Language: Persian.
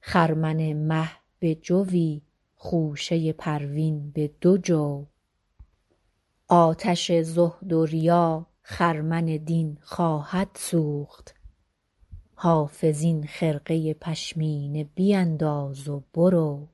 خرمن مه به جوی خوشه پروین به دو جو آتش زهد و ریا خرمن دین خواهد سوخت حافظ این خرقه پشمینه بینداز و برو